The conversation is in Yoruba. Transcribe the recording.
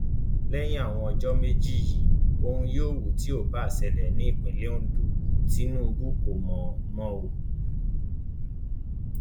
lẹyìn àwọn ọjọ méjì yìí ohun yòówù tó bá ń ṣẹlẹ ní ìpínlẹ ondo tinubu kò mọ mọ o